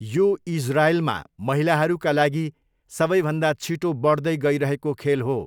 यो इजरायलमा महिलाहरूका लागि सबैभन्दा छिटो बढ्दै गइरहेको खेल हो।